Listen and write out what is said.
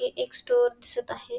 एक स्टोअर दिसत आहे.